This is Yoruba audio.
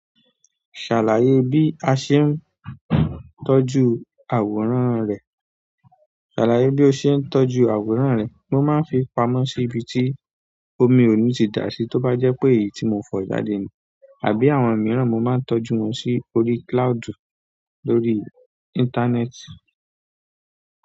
Ṣàlàyé bí a ṣe ń tọ́jú àwòrán rẹ. Ṣàlàyé bí o ṣe ń tọ́jú àwòrán rẹ. Mo máa ń fi pamọ́ síbi tí omi ò ní ti dà sí tó bá jẹ́ pé èyí tí mo fọ jáde àbí àwọn mìíràn mo máa ń tọ́jú wọn sí orí cloud lórí ìntanẹ́ẹ̀tì.